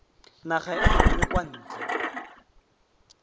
naga e nngwe kwa ntle